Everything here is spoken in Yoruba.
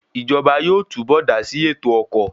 Ìjọba yóò túbọ̀ dásí ètò ọkọ̀